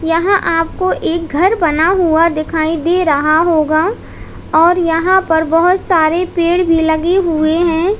यहां आपको एक घर बना हुआ दिखाई दे रहा होगा और यहां पर बहोत सारे पेड़ भी लगे हुए हैं।